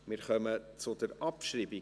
Wir kommen zur Abschreibung.